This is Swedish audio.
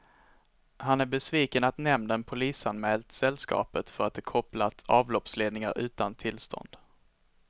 Han är besviken att nämnden polisanmält sällskapet för att det kopplat avloppsledningar utan tillstånd.